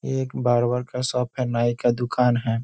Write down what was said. एक बार्बर का शॉप है नाई का दुकान हैं।